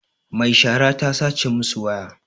Mai shara ta sace masu waya